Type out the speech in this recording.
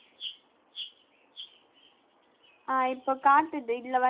ஆஹ் இப்ப காட்டுது இதுல வந்~